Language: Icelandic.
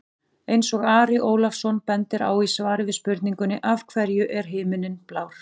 Eins og Ari Ólafsson bendir á í svari við spurningunni Af hverju er himinninn blár?